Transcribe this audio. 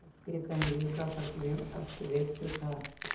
उसके कंदील का प्रतिबिंब अस्तव्यस्त था